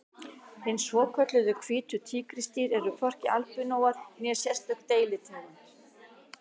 Hin svokölluðu hvítu tígrisdýr eru hvorki albinóar né sérstök deilitegund.